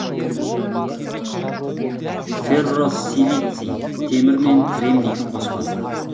ферросилиций темір мен кремнийдің қоспасы